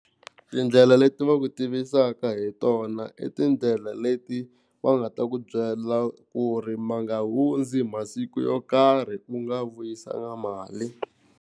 Tindlela leti va ku tivisaka hi tona i tindlela leti va nga ta ku byela ku ri ma nga hundzi masiku yo karhi u nga vuyisangi mali.